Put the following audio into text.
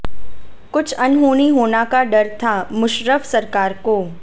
कुछ अनहोनी होना का डर था मुशर्रफ सरकार को